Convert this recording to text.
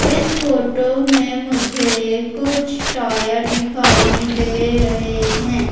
इस फोटो में मुझे कुछ टायर दिखाई दे रहे हैं।